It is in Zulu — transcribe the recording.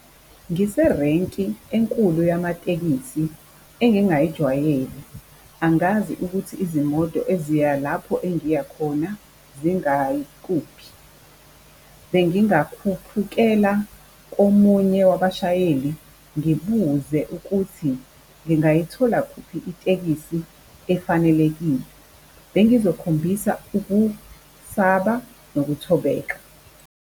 Ngiserenki enkulu yamatekisi engingayijwayele angazi ukuthi izimoto eziya lapho engiya khona zingayikuphi, bengingakhuphukela komunye wabashayeli ngibuze ukuthi ngingayithola kuphi itekisi efanelekile. Bengizokhombisa ukusaba nokuthobeka.